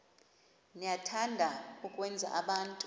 niyathanda ukwenza abantu